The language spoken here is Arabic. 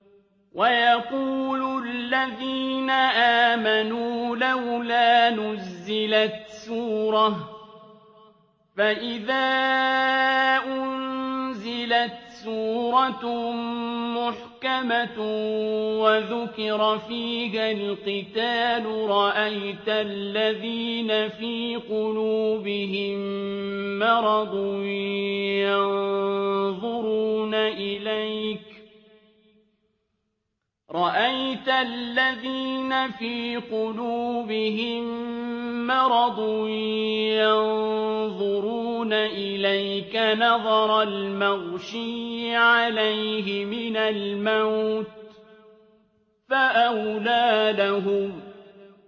وَيَقُولُ الَّذِينَ آمَنُوا لَوْلَا نُزِّلَتْ سُورَةٌ ۖ فَإِذَا أُنزِلَتْ سُورَةٌ مُّحْكَمَةٌ وَذُكِرَ فِيهَا الْقِتَالُ ۙ رَأَيْتَ الَّذِينَ فِي قُلُوبِهِم مَّرَضٌ يَنظُرُونَ إِلَيْكَ نَظَرَ الْمَغْشِيِّ عَلَيْهِ مِنَ الْمَوْتِ ۖ فَأَوْلَىٰ لَهُمْ